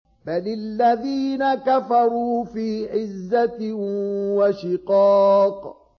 بَلِ الَّذِينَ كَفَرُوا فِي عِزَّةٍ وَشِقَاقٍ